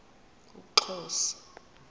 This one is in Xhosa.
umxhosa